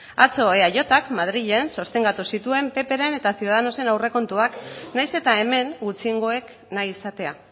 atzo eajk madrilen sostengatu zituen ppren eta ciudadanosen aurrekontuak nahiz eta hemen gutxiengoek nahi izatea